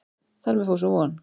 Þar með fór sú von.